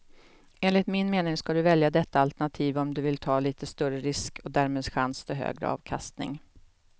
Enligt min mening ska du välja detta alternativ om du vill ta lite större risk och därmed chans till högre avkastning.